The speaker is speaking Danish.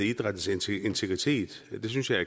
idrættens integritet det synes jeg